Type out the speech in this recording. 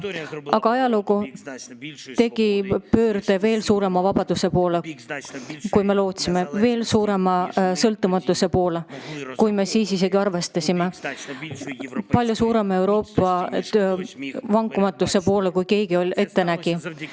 Aga ajalugu tegi pöörde veel suurema vabaduse poole, kui meil kõigil enne oli, palju suurema sõltumatuse poole, kui me tol hetkel oleksime võinud arvata, Euroopa palju suurema vankumatuse poole, kui keegi oli ette näinud.